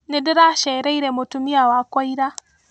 Ndĩracereire mũtumia wakwa ira.